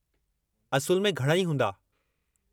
असुलु में, घणई हूंदा।